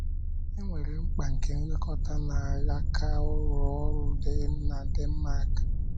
E nwere mkpa nke nlekọta n’alaka ụlọ ọrụ na Denmark.